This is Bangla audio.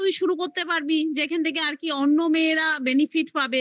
করতে পারবি যেখান থেকে আর কি অন্য মেয়েরা benefit পাবে